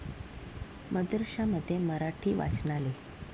मदरशामध्ये मराठी वाचनालय!